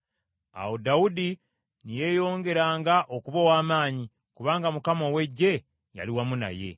Awo Dawudi ne yeeyongeranga okuba ow’amaanyi, kubanga Mukama ow’Eggye yali wamu naye.